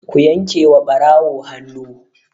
Ku yanke wa ɓarawo hannu!